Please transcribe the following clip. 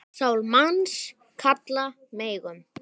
Sál manns kalla megum.